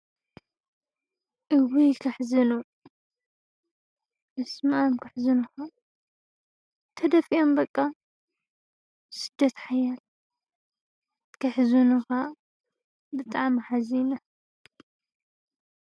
እዉይ! ከሕዝኑ በስመኣም ከሕዝኑኻ ተደፊኦም በቃ ስደት ሓያል ከሕዝኑኻ ብጣዕሚ ሓዚነ፡፡